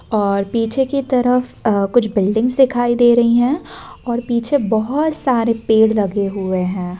और पीछे की तरफ आ कुछ बिल्डिंग्स दिखाई दे रही हैं और पीछे बहोत सारे पेड़ लगे हुए हैं।